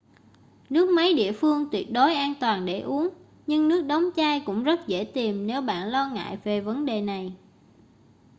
nước máy địa phương tuyệt đối an toàn để uống nhưng nước đóng chai cũng rất dễ tìm nếu bạn lo ngại về vấn đề này